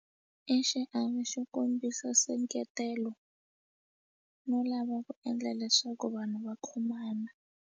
I xiave xo kombisa nseketelo no lava ku endla leswaku vanhu va khomana.